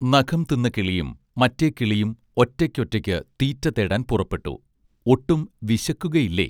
നഖം തിന്ന കിളിയും മറ്റേ കിളിയും ഒറ്റയ്ക്കൊറ്റയ്ക്ക് തീറ്റ തേടാൻ പുറപ്പെട്ടു ഒട്ടും വിശക്കുകയില്ലേ